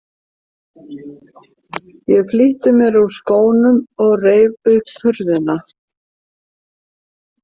Ég flýtti mér úr skónum og reif upp hurðina.